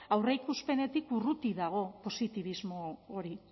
aurreikuspenetik urruti dago positibismo hori